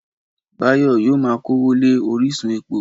Báyọ̀ yóò ma kówó lé orísun epo